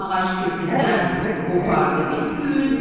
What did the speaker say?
Ağac kökündən qopardı bir gün.